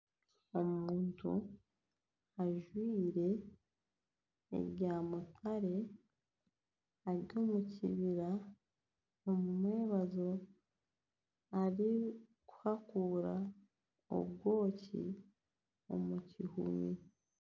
Omuntu ajwire ebyamutare, ari omu kibira omu mwabazyo, arikuhakuura obwoki omu kihumi